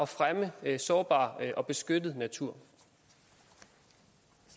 fremme sårbar og beskyttet natur